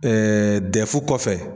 dɛfu kɔfɛ.